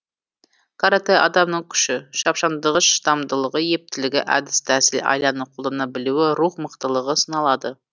каратэ адамның күші шапшаңдығы шыдамдылығы ептілігі әдіс тәсіл айланы қолдана білуі рух мықтылығы сыналады